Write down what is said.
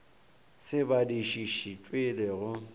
se badišiši tšwe le go